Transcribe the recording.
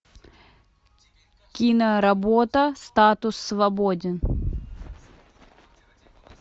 киноработа статус свободен